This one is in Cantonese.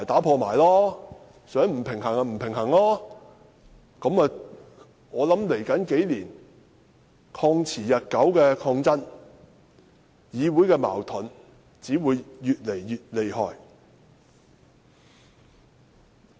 我想在未來數年，"曠持日久"的抗爭、議會的矛盾只會越來越厲害。